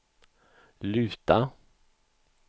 luta